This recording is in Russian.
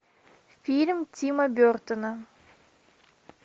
фильм тима бертона